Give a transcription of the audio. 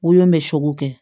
Wolon bɛ sogo kɛ